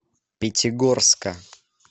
пятигорска